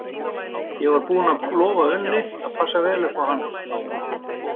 Ég var búinn að lofa Unni að passa vel upp á hann.